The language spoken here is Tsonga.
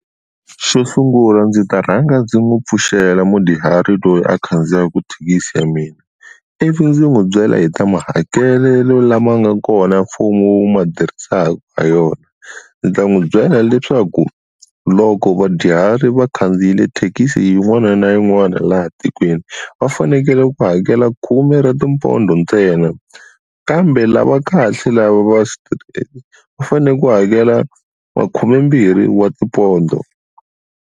Xo sungula ndzi ta rhanga ndzi n'wi pfuxela mudyuhari loyi a khandziyaka thekisi ya mina ivi ndzi n'wi byela hi ta mahakelelo lama nga kona mfumo wu ma tirhisaka ha yona, ndzi ta n'wi byela leswaku loko vadyuhari va khandziyile thekisi yin'wana na yin'wana laha tikweni va fanekele ku hakela khume ra tipondho ntsena kambe lava kahle lava va va fanele ku hakela wa khumembirhi wa tipondho.